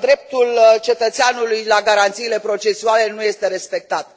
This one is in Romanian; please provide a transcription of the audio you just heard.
dreptul cetățeanului la garanțiile procesuale nu este respectat.